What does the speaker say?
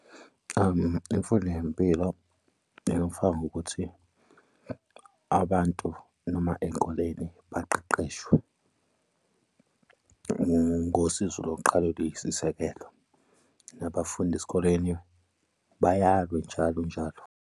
Imfundo yempilo engifakwa ngokuthi abantu noma ey'koleni baqeqeshwe ngosizo lokuqala oluyisisekelo nabafundi esikoleni bayalwe njalo njalo.